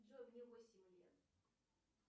джой мне восемь лет